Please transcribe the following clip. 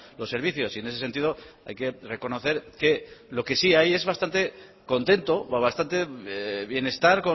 los servicios y en ese sentido hay que reconocer que lo que sí hay es bastante contento bastante bienestar